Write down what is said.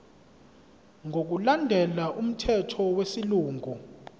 ngokulandela umthetho wesilungu